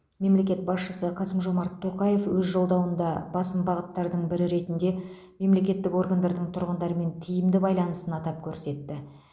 мемлекет басшысы қасым жомарт тоқаев өз жолдауында басым бағыттардың бірі ретінде мемлекеттік органдардың тұрғындармен тиімді байланысын атап көрсетті